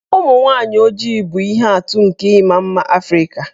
Ụmụ nwaanyị ojii bụ ihe atụ nke ịma mma Afrịka.